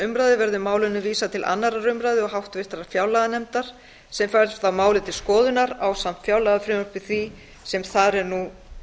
umræðu verði málinu vísað til annarrar umræðu og háttvirtrar fjárlaganefndar sem fær þá málið til skoðunar ásamt fjárlagafrumvarpi því sem þar er nú